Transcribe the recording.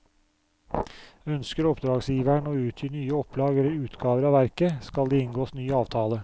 Ønsker oppdragsgiveren å utgi nye opplag eller utgaver av verket, skal det inngås ny avtale.